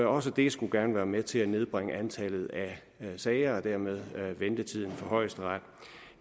også det skulle gerne være med til at nedbringe antallet af sager og dermed ventetiden for højesteret